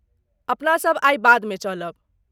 अपनासभ आइ बादमे चलब।